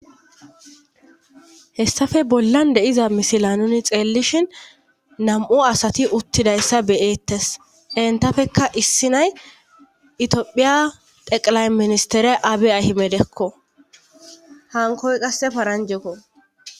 hessafe bollan de'iza misila nuni xeellishin nam'u asati uttidayssa beyeettes entafekka issi nay itiopphiya teqilay ministere abe ahimedekko hankoy qasse paranjekko